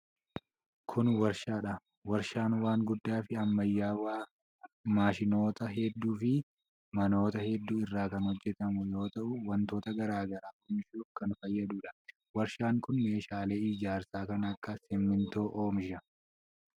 Kun warshaa dha. Warshaan waan guddaa fi ammayyawaa maashinoota hedduu fi manoota hedduu irraa kan hojjatamu yoo ta'u, wantoota garaa garaa oomishuuf kan fayyaduu dha. Warshaan kun meeshaa ijaarsaa kan akka simiintoo oomisha.